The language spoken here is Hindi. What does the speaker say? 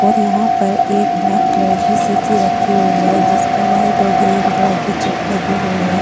और यहां पर एक ब्लैक कलर की शीशी रखी हुई है जिसप व्हाइट और ग्रीन कलर की चिट लगी हुई है।